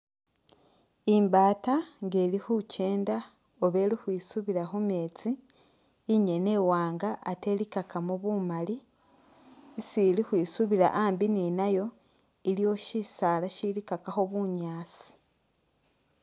Imbata nga ili khukyenda oba ili ukhwisubila khu metsi, inyene i wanga ate i likakamo bumali, isi ili ukhwisubila ambi ni nayo iliwo shisaala shilikakakho bunyaasi.